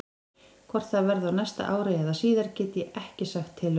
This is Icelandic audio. Hvort það verði á næsta ári eða síðar get ég ekki sagt til um.